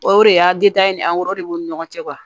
O de y'a ni de b'u ni ɲɔgɔn cɛ